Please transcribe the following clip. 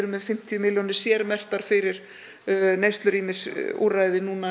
með fimmtíu milljónir sérmerktar fyrir neyslurýmisúrræði núna